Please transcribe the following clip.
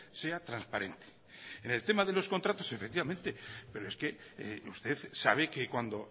sea transparente en el tema de los contratos efectivamente pero es que usted sabe que cuando